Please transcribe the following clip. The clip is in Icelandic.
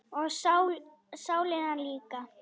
Og sálina líka.